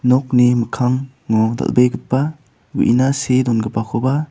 nokni mikkango dal·begipa uina see dongipakoba--